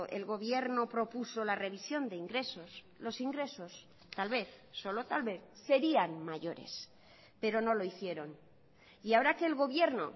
el gobierno propuso la revisión de ingresos los ingresos tal vez solo tal vez serían mayores pero no lo hicieron y ahora que el gobierno